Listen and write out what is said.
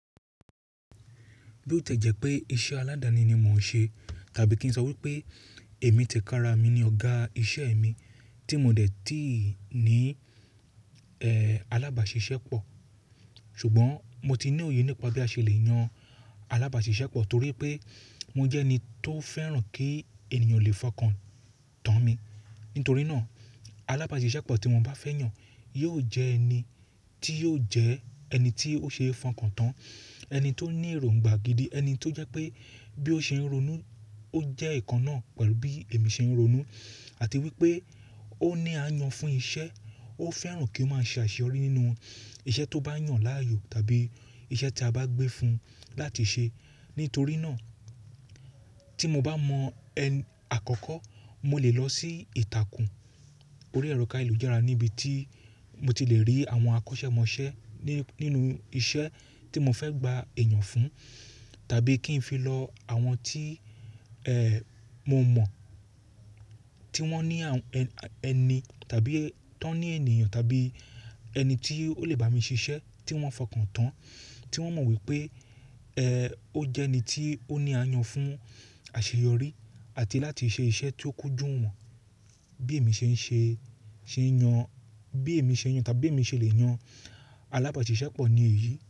Bí ó ti jẹ́ pé iṣẹ́ aládani ni mò ń ṣe tàbí kí n sọ wípé èmi tẹ̀kára mi ní ọ̀gá iṣẹ́ mi tí mo dẹ̀ tíì ní, ẹ́, alábàáṣiṣẹ́pọ̀, ṣùgbọ́n mo ti ní òye nípa bí a ṣe le yan alábàáṣiṣẹ́pọ̀ torí pé mo jẹ́ ẹni tó fẹ́ràn kí ènìyàn lè fọkàn tán mi. Nítorí náà, alábàáṣiṣẹ́pọ̀ tí mo bá fẹ́ yàn yóò jẹ ẹni tí yóò jẹ ẹni tí ó ṣe é fọkàn tán, ẹni tó ní èròngbà gidi, ẹni tó jẹ́ pé bí ó ṣe ń ronú ó jẹ́ ìkan náà pẹ̀lú bí èmi ṣe ń ronú àti wípé ó ní àyàn fún iṣẹ́, ó fẹ́ràn kí ó máa ṣe àṣeyọrí nínú iṣẹ́ tó bá yàn láàyò tàbí iṣẹ́ tí a bá gbé fun láti ṣe. Nítorí náà tí mo bá mọ ẹni àkọ́kọ́ mo lè lọ sí ìtàkùn orí ẹ̀rọ káyelújara níbi tí mo ti lè rí àwọn akọ́ṣẹ́mọṣẹ́ ní, nínú iṣẹ́ tí mo fẹ́ gba èèyàn fún tàbí kí n fi lọ àwọn tí, ẹ́, mo mọ̀ tí wọ́n ní àwọn ẹni tàbí tó ní ènìyàn tàbí ẹni tí ó lè bá mi ṣiṣẹ́ tí wọ́n fọkàn tán, tí wọ́n mọ̀ wípé, ẹ́, ó jẹ́ ẹni tí ó ní àyàn fún àṣeyọrí àti láti ṣe iṣẹ́ tí ó kúnjú wọn bí èmi ṣe ń ṣe, ṣe ń yàn, bí èmi ṣe ń yàn tàbí bi èmi ṣe lè yàn alábàáṣiṣẹ́pọ̀ ní èyí.